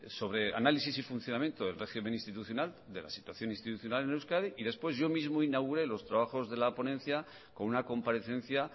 sobre análisis y funcionamiento del régimen institucional de la situación institucional en euskadi y después yo mismo inauguré los trabajos de la ponencia con una comparecencia